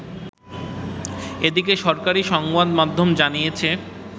এদিকে, সরকারি সংবাদমাধ্যম জানিয়েছে